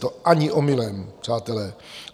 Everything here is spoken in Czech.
To ani omylem, přátelé.